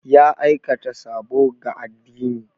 Ya aikata sabo ga addini.